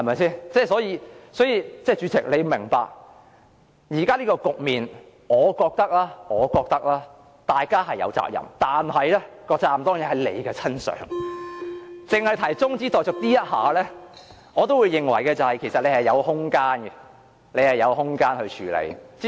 所以，主席要明白，現時這個局面，我認為大家是有責任的，但責任當然在主席身上，僅就中止待續議案而言，我也認為主席有空間處理。